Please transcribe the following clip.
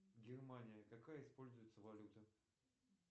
германия какая используется валюта